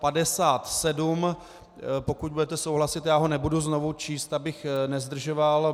Pokud budete souhlasit, já ho nebudu znovu číst, abych nezdržoval.